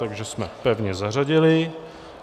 Takže jsme pevně zařadili.